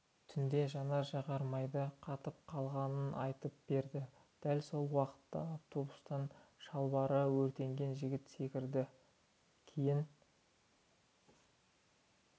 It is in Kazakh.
түнде жанар-жағармайдың қатып қалғанын айтып берді дәл сол уақытта автобустан шалбары өртенген жігіт секірді кейін